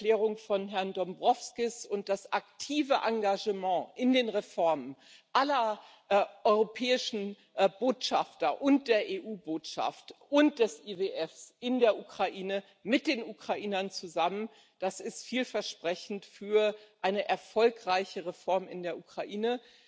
Die Erklärung von Herrn Dombrovskis und das aktive Engagement aller europäischen Botschafter und der EU Botschaft und des IWF für die Reformen in der Ukraine mit den Ukrainern zusammen das ist vielversprechend für eine erfolgreiche Reform in der Ukraine.